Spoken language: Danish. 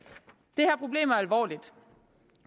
det her problem er alvorligt